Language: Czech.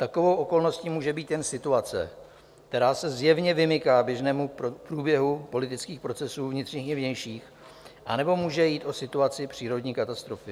Takovou okolností může být jen situace, která se zjevně vymyká běžnému průběhu politických procesů vnitřních i vnějších, anebo může jít o situaci přírodní katastrofy.